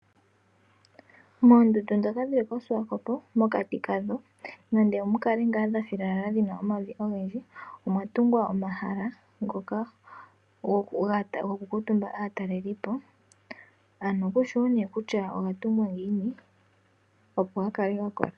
Moondunda ndhoka dhili koshiwakopo mokati kadho nande mukale ngaa mwathilala muna omavi ogendji omwatungwa omahala ngoka goku kuutumba aatalelipo kushiwo nee kutya ogatungwa ngiini opo gakale gakola.